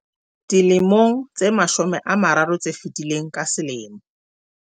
Dilemong tse mashome a mararo tse fetileng, ka selemo